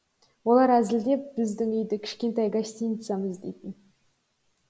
олар әзілдеп біздің үйді кішкентай гостиницамыз дейтін